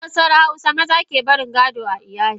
A kabilar hausawa maza kebarin gado a iyali.